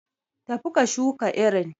Tafi ka shuka irin.